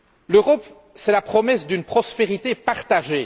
L'Europe est la promesse d'une prospérité partagée.